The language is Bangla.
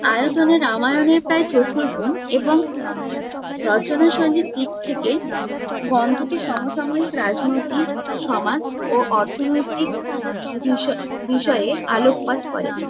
আয়তনে রামায়ণের প্রায় চতুর্গুণ এবং রচনাশৈলীর দিক থেকে গ্রন্থটি সমসাময়িক রাজনৈতিক সমাজ ও অর্থনৈতিক বিষয়ে বিষয়ে আলোকপাত করে।